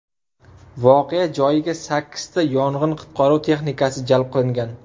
Voqea joyiga sakkizta yong‘in-qutqaruv texnikasi jalb qilingan.